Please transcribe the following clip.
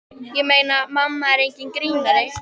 Ég meina, mamma er enginn grínari.